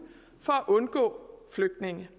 for at undgå flygtninge